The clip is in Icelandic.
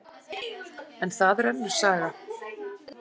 En það er önnur saga.